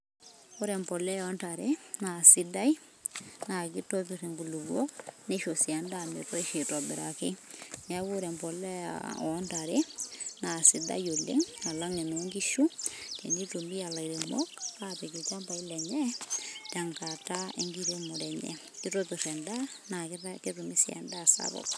ore empolea ontare na sidai na kitopir inkulikuok, nisho si endaa metoisho aitobiraki, niaku ore emolea ontare ,na kisidai alang ononkishu, tenitumia ilairemok apik ilchambai lenye tenkata enkiremore enye kitopir endaa, na ketumi endaa sapuk.